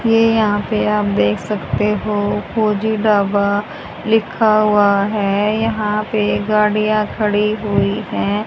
ये यहां पे आप देख सकते हो फौजी ढाबा लिखा हुआ है यहां पे गाड़ियां खड़ी हुई हैं।